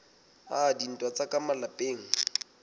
a dintwa tsa ka malapeng